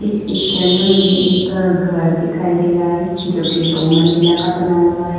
इस पिक्चर में मुझे एक घर दिखाई दे रहा है जो कि दो मंजिला का बना हुआ है।